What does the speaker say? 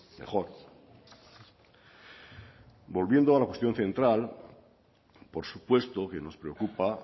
mejor volviendo a la cuestión central por supuesto que nos preocupa